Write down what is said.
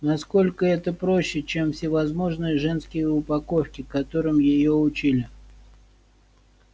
насколько это проще чем всевозможные женские упаковки которым её учили